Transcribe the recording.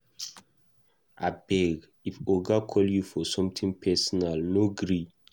Abeg, if Oga call you for something personal no gree.